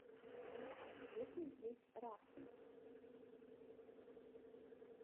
есть ли здесь рафтинг